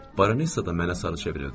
Baronessa da mənə sarı çevrildi.